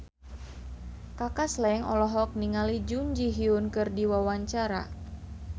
Kaka Slank olohok ningali Jun Ji Hyun keur diwawancara